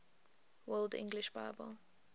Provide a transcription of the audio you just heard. world english bible